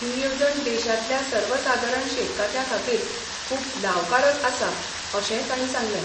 ही येवजण देशांतल्या सर्वसादारण शेतकात्यां खातीर खूब लावकारक आसा अशेंय तांणी सांगलें.